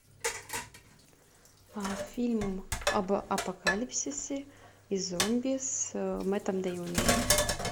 фильм об апокалипсисе и зомби с мэттом дэймоном